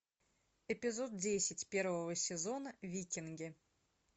эпизод десять первого сезона викинги